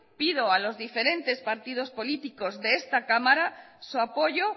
pido a los diferentes partidos políticos de esta cámara su apoyo